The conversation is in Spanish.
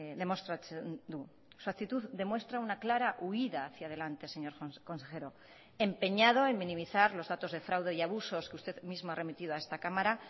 demostratzen du su actitud demuestra una clara huída hacia adelante señor consejero empeñado en minimizar los datos de fraude y abusos que usted mismo ha remitido a esta cámara